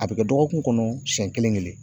A be kɛ dɔgɔkun kɔnɔ siɲɛ kelen kelen.